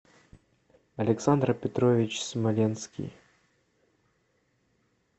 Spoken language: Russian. александр петрович смоленский